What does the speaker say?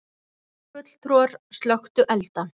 Borgarfulltrúar slökktu elda